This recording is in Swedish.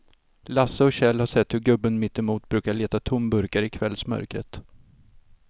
Lasse och Kjell har sett hur gubben mittemot brukar leta tomburkar i kvällsmörkret.